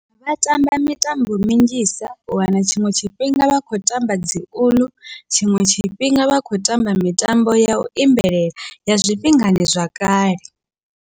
Vha tamba mitambo minzhisa, u wana tshiṅwe tshifhinga vha kho tamba dzi uḽu tshiṅwe tshifhinga vha kho tamba mitambo yau imbelela ya zwifhingani zwa kale.